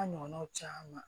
A ɲɔgɔnnaw caman